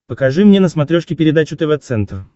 покажи мне на смотрешке передачу тв центр